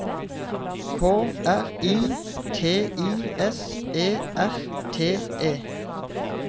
K R I T I S E R T E